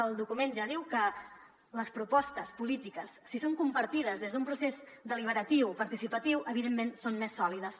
el document ja diu que les propostes polítiques si són compartides des d’un procés deliberatiu participatiu evidentment són més sòlides